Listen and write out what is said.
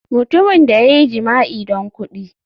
Mutumin da ya yi jima'i don kudi.